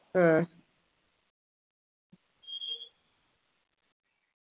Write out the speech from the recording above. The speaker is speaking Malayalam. അഹ്